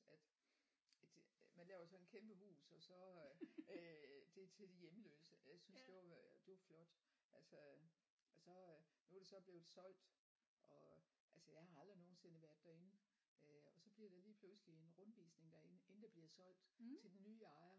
At at man laver sådan et kæmpe hus og så øh det er til de hjemløse jeg synes det var det var flot altså og så øh nu er det så blevet solgt og altså jeg har aldrig nogensinde været derinde øh og så bliver der lige pludselig en rundvisning derinde inden det bliver solgt til den nye ejer